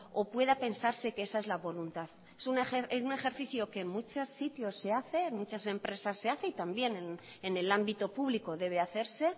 o pueda pensarse que esa es la voluntad es un ejercicio que en muchos sitios se hace en muchas empresas se hace y también en el ámbito público debe hacerse